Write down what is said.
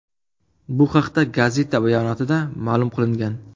Bu haqda gazeta bayonotida ma’lum qilingan .